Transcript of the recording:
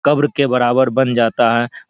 कब्र के बराबर बन जाता है।